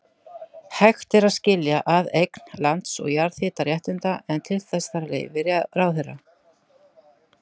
Hægt er að skilja að eign lands og jarðhitaréttinda, en til þess þarf leyfi ráðherra.